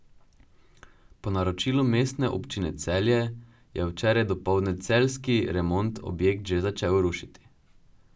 Po naročilu Mestne občine Celje je včeraj dopoldne celjski Remont objekt že začel rušiti.